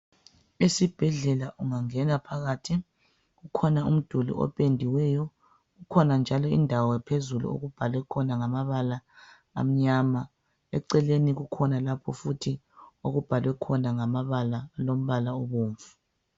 Esibhendlela ungangena phakathi kukhona umdula opediweyo kukhona njalo indawo phezulu okubhalwe khona ngamabala amnyama eceleni kukhona lapha futhi okubhalwe khona ngamabala olombala obomvu.